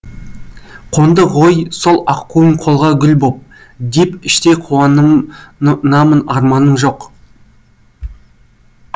қонды ғой сол аққуым қолға гүл боп деп іштей қауан намын арманым жоқ